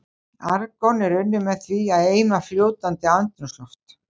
Argon er unnið með því að eima fljótandi andrúmsloft.